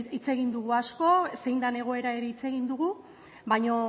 hitz egin dugu asko zein den egoera ere hitz egin dugu baina